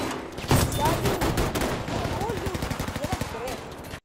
салют что любит делать греф